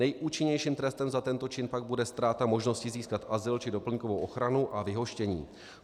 Nejúčinnějším trestem za tento čin pak bude ztráta možnosti získat azyl či doplňkovou ochranu a vyhoštění.